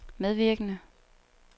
medvirkende